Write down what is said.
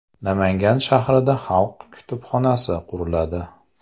Namangan shahrida xalq kutubxonasi quriladi .